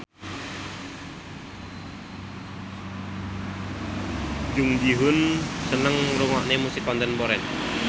Jung Ji Hoon seneng ngrungokne musik kontemporer